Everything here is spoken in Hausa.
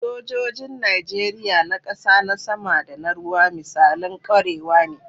Sojojin Najeriya, na kasa, na sama, da na ruwa, misalan kwarewa ne.